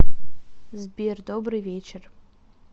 сбер добрый вечер